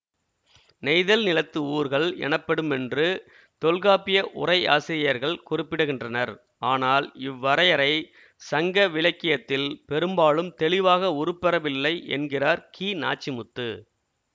நெய்தல் நிலத்து ஊர்கள் எனப்படுமென்று தொல்காப்பிய உரையாசிரியர்கள் குறிப்பிடுகின்றனர் ஆனால் இவ்வரையறை சங்கவிலக்கியத்தில் பெரும்பாலும் தெளிவாக உருப்பெறவில்லை என்கிறார் கிநாச்சிமுத்து